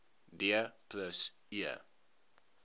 d plus e